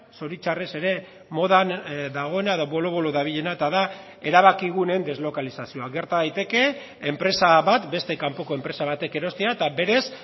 zoritxarrez ere modan dagoena edo bolo bolo dabilena eta da erabakiguneen deslokalizazioa gerta daiteke enpresa bat beste kanpoko enpresa batek erostea eta berez